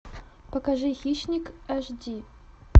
покажи хищник аш ди